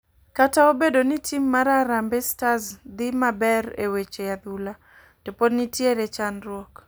Kata obedo ni tim mar harambe stars dhi maber e weche adhula to pod nitiere chandruok.